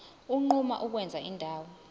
unquma ukwenza indawo